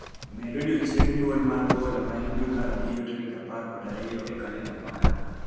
Med odiechieng' mar nyuol mar mar Bola ma en dwe mar abirio tarik apar kod ariyo e kalenda mara